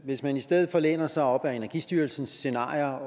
hvis man i stedet læner sig op ad energistyrelsens scenarier